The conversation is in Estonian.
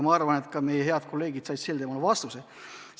Ma arvan, et head kolleegid said sellele vastuse.